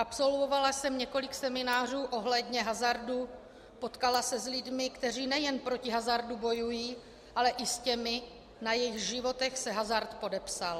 Absolvovala jsem několik seminářů ohledně hazardu, potkala se s lidmi, kteří nejen proti hazardu bojují, ale i s těmi, na jejichž životech se hazard podepsal.